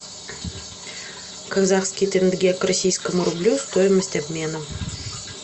казахский тенге к российскому рублю стоимость обмена